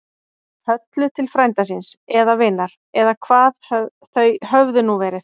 Höllu til frænda síns. eða vinar. eða hvað þau höfðu nú verið.